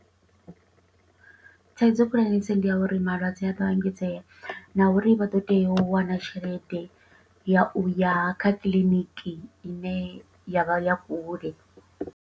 Thaidzo khulwanesa ndi ya uri, malwadze a to engedzea, na uri vha ḓo tea u wana tshelede ya u ya kha kiḽiniki i ne ya vha ya kule.